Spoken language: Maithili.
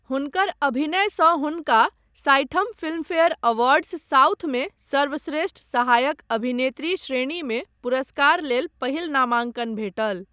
हुनकर अभिनयसँ हुनका साठिम फिल्मफेयर अवार्ड्स साउथमे सर्वश्रेष्ठ सहायक अभिनेत्री श्रेणीमे पुरस्कार लेल पहिल नामांकन भेटल।